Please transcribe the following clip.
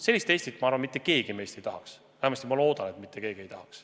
Sellist Eestit, ma arvan, mitte keegi meist ei taha, vähemasti ma loodan, et mitte keegi ei taha.